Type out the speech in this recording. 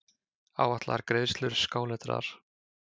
Áætlaðar greiðslur skáletraðar.